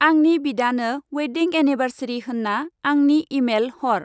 आंनि बिदानो wedding anniversary होन्ना आंनि एमेल हर।